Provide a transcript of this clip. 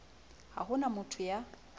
ha ho na motho ya